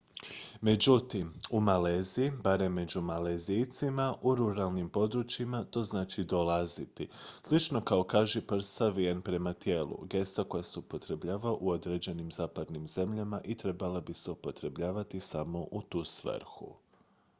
međutim u maleziji barem među malezijcima u ruralnim područjima to znači dolaziti slično kao kažiprst savijen prema tijelu gesta koja se upotrebljava u određenim zapadnim zemljama i trebala bi se upotrebljavati samo u tu svrhu